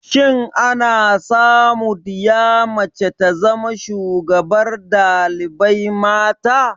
Shin ana samu diya mace ta zama shugabar dalibai mata?